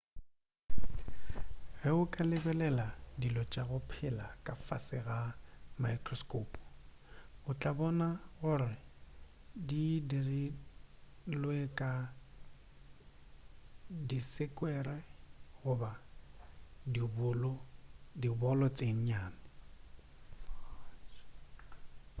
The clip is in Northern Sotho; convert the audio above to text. ge o ka lebelela dilo tša go phela ka fase ga maekrosko o tla bona gore di dirilwe ka disekwere goba dibolo tše nnyane